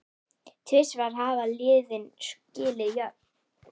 Tvisvar hafa liðin skilið jöfn.